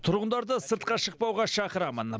тұрғындарды сыртқа шықпауға шақырамын